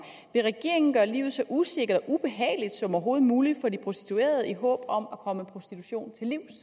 vil regeringen gøre livet så usikkert og ubehageligt som overhovedet muligt for de prostituerede i håb om at komme prostitution